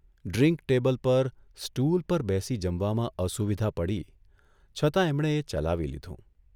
Drink table પર, stool પર બેસી જમવામાં અસુવિધા પડી છતાં એમણે એ ચલાવી લીધું.